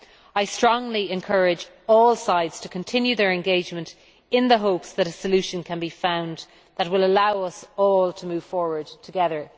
I strongly encourage all sides to continue their engagement in the hope that a solution can be found that will allow us all to move forward together.